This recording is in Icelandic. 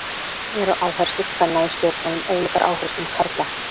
Eru áherslur kvenna í stjórnmálum ólíkar áherslum karla?